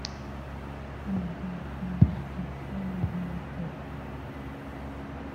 а да и еще нужна морковка